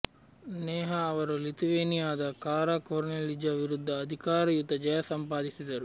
ನೇಹಾ ಅವರು ಲಿಥುವೇನಿಯಾದ Kara Kornelija ವಿರುದ್ಧ ಅಧಿಕಾರಯುತ ಜಯ ಸಂಪಾದಿಸಿದರು